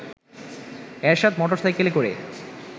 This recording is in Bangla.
এরশাদ মোটরসাইকেলে করে